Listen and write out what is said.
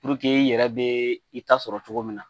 i yɛrɛ bɛ i ta sɔrɔ cogo min na